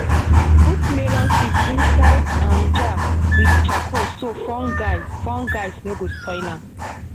put melon seeds inside um jar with charcoal so fungi fungis no go spoil am.